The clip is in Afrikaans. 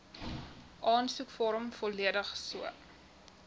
aansoekvorm volledig so